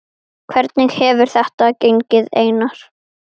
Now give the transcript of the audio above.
Hvernig hefur þetta gengið Einar?